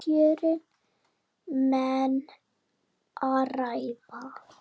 Um kjörin menn ræða.